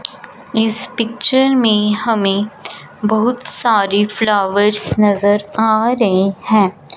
इस पिक्चर में हमें बहुत सारी फ्लावर नजर आ रहे हैं।